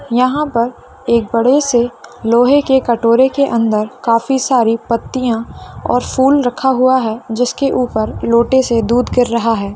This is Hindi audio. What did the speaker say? यहाँ पर एक बड़े से लोहे के कटोरे के अंदर काफी सारी पत्तियां और फूल रखा हुआ है जिसके ऊपर लोटे से दूध गिर रहा है।